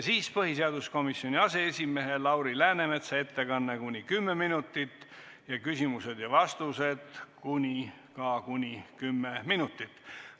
Siis on põhiseaduskomisjoni aseesimehe Lauri Läänemetsa ettekanne, kuni 10 minutit, küsimused-vastused ka kuni 10 minutit.